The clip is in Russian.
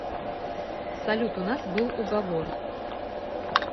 салют у нас был уговор